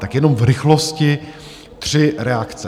Tak jenom v rychlosti tři reakce.